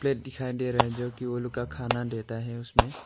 दिखाई दे रहा है जो कि उन लोग का खाना देता है उसमें।